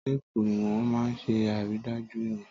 Téèpù ìwọ̀n máa ń ṣe àrídájú ìwọ̀n